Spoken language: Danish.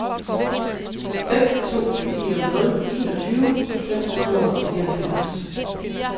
fem to fire nul enogtyve fem hundrede og fireoghalvfems